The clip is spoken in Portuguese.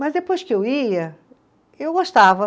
Mas depois que eu ia, eu gostava.